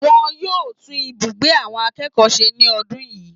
Wọn yóò tún ibùgbé àwọn akẹ́kọ̀ọ́ se ní ọdún yìí